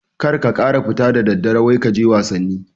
kar ka kara fita da daddare wai kaje wasanni